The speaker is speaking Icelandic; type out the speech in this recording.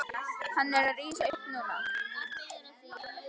Hann er að rísa upp núna.